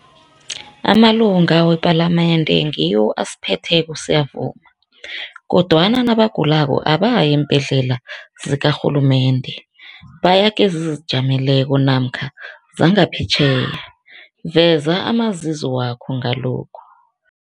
Amalunga wepalamende ngiwo asiphetheko siyavuma, kodwana nabagulako abayi eembhedlela zikarhulumende baya kezizijameleko namkha zangaphetjheya. Veza amazizo wakho ngalokhu.